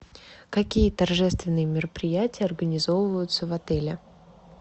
какие торжественные мероприятия организовываются в отеле